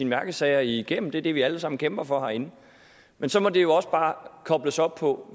mærkesager igennem det det vi alle sammen kæmper for herinde men så må det også bare kobles op på